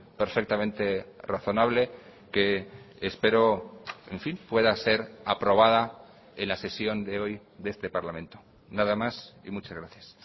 perfectamente razonable que espero en fin pueda ser aprobada en la sesión de hoy de este parlamento nada más y muchas gracias